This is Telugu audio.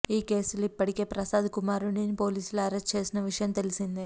ఈ కేసులో ఇప్పటికే ప్రసాద్ కుమారుడిని పోలీసులు అరెస్ట్ చేసిన విషయం తెలిసిందే